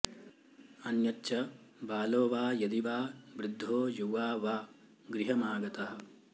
अन्यच्च बालो वा यदि वा वृद्धो युवा वा गृहमागतः